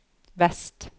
vest